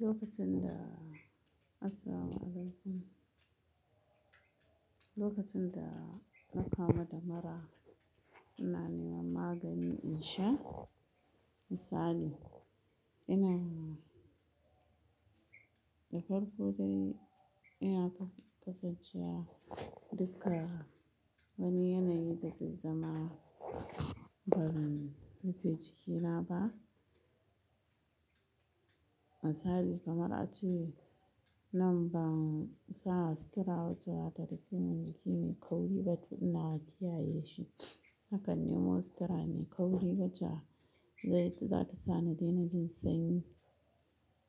Lokacin da asalin alif, lokacin da na kamu da mura, ina neman magani in sha. Misali, ina da farko dai ina kasancewa duka wani yanayi da zai zama ban rufe jikina ba. Misali kamar a ce nan ba sa sutara wace za ta rufe min jiki mai kauri ba ina kiyaye shi. Haka nemo sutura mai kauri wata zai, za ta sa ni daina jin sanyi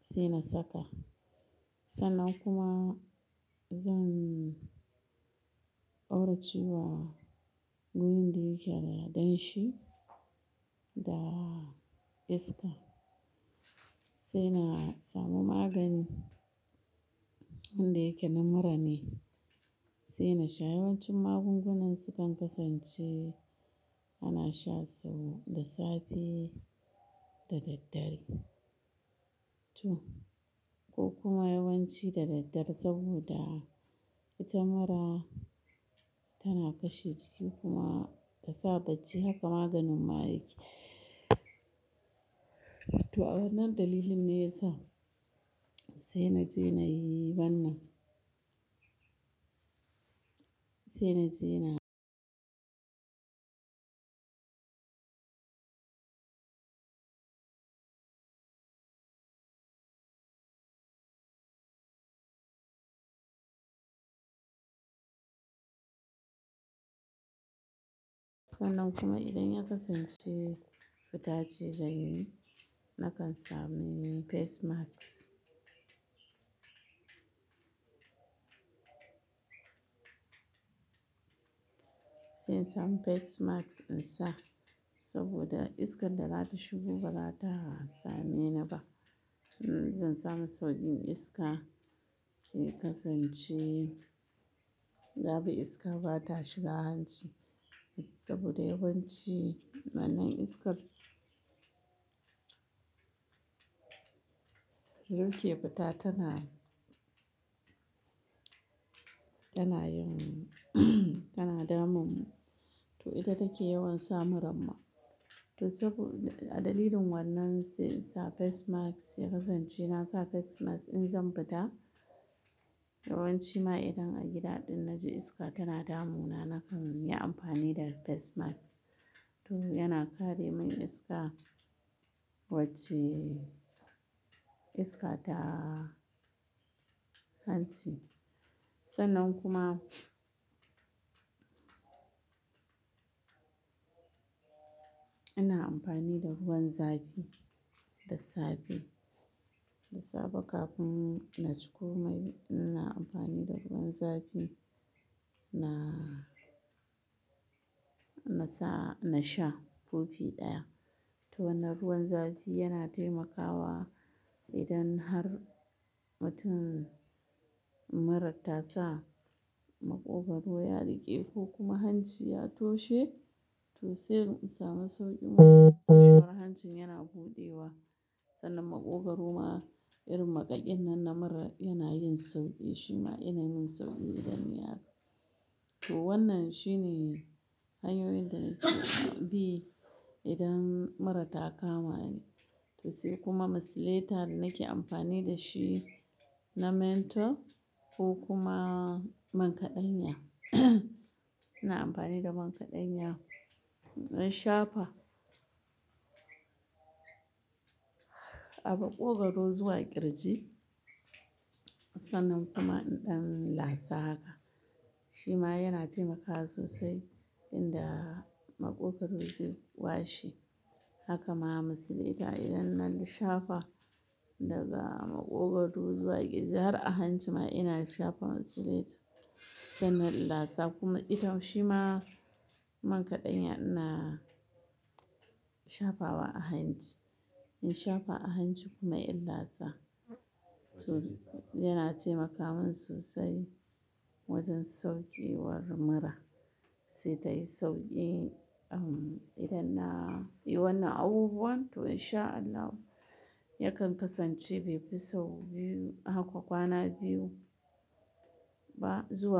sai na saka. Sannan kuma zan auraci wa wurin da yake da danshi da iska. Sai na samu magani wanda yake na mura ne sai na sha. Yawancin magungunan sukan kasance ana shan su da safe da daddare. To ko kuma yawanci da daddare saboda ita mura tana kashe jiki kuma ta sa datti haka maganin ma yake. To a wannan dalilin ne ya sa sai na je na yi wannan. Sai na je na sannan kuma idan ina kasancewa da datti, zai yi nakan sami face mask. Sai in samu face mask in sa saboda iskar da za ta shigo ba za ta same ni ba. Zan samu saukin iska ke kasance, gaba iska ba ta shiga hanci saboda yawanci wannan iskar yauke ba ta, tana, tana yin, tana damun mu. To ita take yawan sa muramma. To saboda, a dalilin wannan sai in sa face mask ya kasance na sa face mask in zan fita. Yawanci ma idan a gida ɗin na ji iska tana damu na nakan yi amfani da face mask. To yana kare min iska wacce iska ta hanci. Sannan kuma ina amfani da ruwan zafi da safe. Da safe kafin na ci komai ina amfani da ruwan zafi na, na sa, na sha kofi ɗaya. To wannan ruwan zafi yana taimakawa idan har watan mura ta sa maƙogwaro ya riƙe ko kuma hanci ya toshe. To sai in samu sauƙi shiga hancin yana buɗewa. Sannan maƙogwaro ma irin makaɗin nan na mura yana yin sauƙi. Shi ma yana min sauƙi idan ya to wannan shine hanyoyin da nake bi idan mura ta kama ni. To sai kuma misilata nake amfani da shi na mentor ko kuma man kaɗanya. Ina amfani da man kaɗanya in shafa a maƙogwaro zuwa ƙirji. Sannan kuma in lasa haka. Shi ma yana taimaka sosai idan maƙogwaro zai washe. Haka ma misilata idan na shafa daga maƙogwaro zuwa ƙirji har a hanci ma ina shafa misilata. Sannan in lasa kuma ita shima man kaɗanya ina shafa wa a hanci. In shafa a hanci kuma in lasa. To yana taimaka min sosai wajen sauƙiwar mura sai tayi sauƙi. Idan na yi wannan abubuwan to in sha Allah yakan kasance bai fi sau biyu haka kwana biyu ba zuwa.